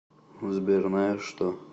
сбер наешь что